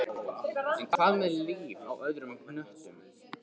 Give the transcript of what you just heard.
En hvað með líf á öðrum hnöttum?